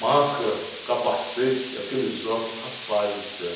Máscara, capacete, aqueles óculos, rapaz do céu.